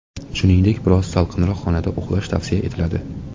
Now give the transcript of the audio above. Shuningdek, biroz salqinroq xonada uxlash tavsiya etiladi.